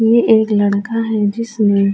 یہ ایک لڑکا ہے، جسنے --